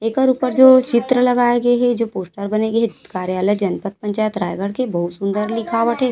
एकर ऊपर जो चित्र लगाए गए हे जो पोस्टर बने गे हे कार्यालय जनपत नगर पंचायत रायगढ़ के बहुत सुन्दर लिखावट हे ।